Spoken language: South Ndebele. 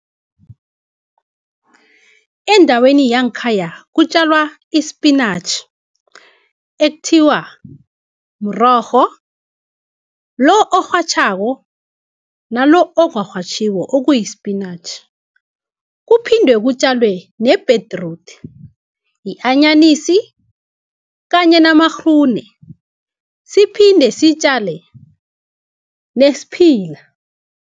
Endaweni yangkhaya kutjalwa ispinatjhi ekuthiwa mrorho lo, orhatjhako nalo ongarhatjhiko okuyi-spinatjhi, kuphinde kutjalwe nebhedrude, yi-anyanisi kanye namagrune siphinde sitjale nesiphila.